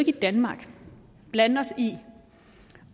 i danmark blande os i